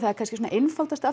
er kannski Kashoggi einfaldasta